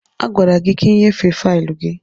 A gwara gị ka ị nyefee faịlụ gị!